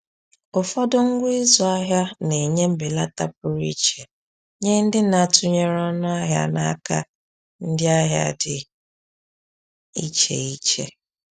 Ụfọdụ ngwa ịzụ ahịa na-enye mbelata pụrụ iche nye ndị na-atụnyere ọnụ ahịa n’aka ndị ahịa dị iche iche.